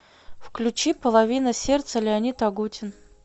включи половина сердца леонид агутин